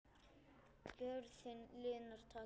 Gjörðin linar takið.